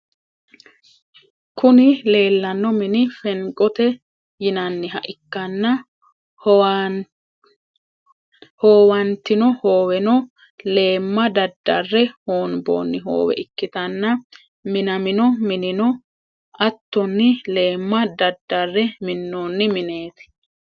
Kuni lelano mini fenigote yinaniha ikana hoowanittinno hooweno leema dadare honibonni hoowe ikitana minamino mininno attonni leema dadare minonni minetti.